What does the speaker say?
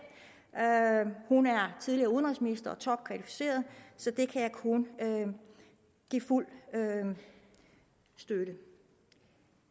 hun er tidligere udenrigsminister og topkvalificeret så det kan jeg kun give fuld støtte